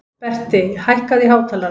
Berti, hækkaðu í hátalaranum.